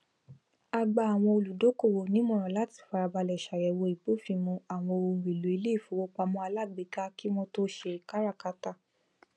a gba àwọn olùdókòwò nímọran láti farabalẹ ṣàyẹwò ìbófinmu àwọn ohunèlò iléìfowópamọ alágbèéká kí wọn tó ṣe káràkátà